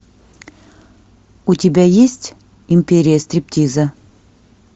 у тебя есть империя стриптиза